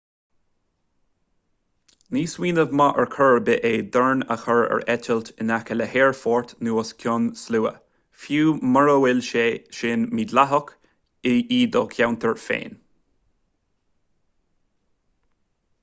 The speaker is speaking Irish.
ní smaoineamh maith ar chor ar bith é drón a chur ar eitilt in aice le haerfort nó os cionn slua fiú mura bhfuil sé sin mídhleathach i do cheantar féin